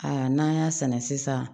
Aa n'an y'a sɛnɛ sisan